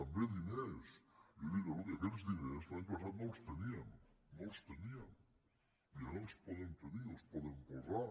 també diners jo dic escolti aquests diners l’any passat no els teníem no els teníem i ara els podem tenir els podem posar